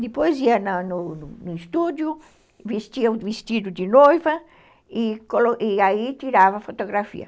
Depois ia no no estúdio, vestia o vestido de noiva e aí tirava a fotografia.